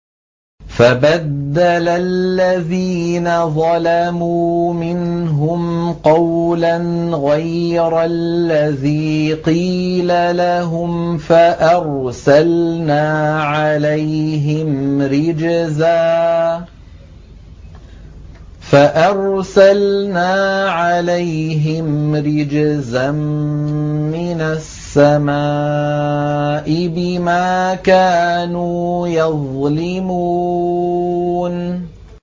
فَبَدَّلَ الَّذِينَ ظَلَمُوا مِنْهُمْ قَوْلًا غَيْرَ الَّذِي قِيلَ لَهُمْ فَأَرْسَلْنَا عَلَيْهِمْ رِجْزًا مِّنَ السَّمَاءِ بِمَا كَانُوا يَظْلِمُونَ